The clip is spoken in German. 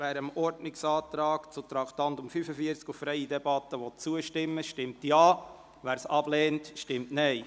Wer dem Ordnungsantrag auf freie Debatte betreffend Traktandum 45 zustimmt, stimmt Ja, wer diesen ablehnt, stimmt Nein.